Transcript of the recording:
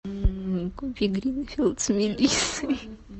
купи гринфилд с мелиссой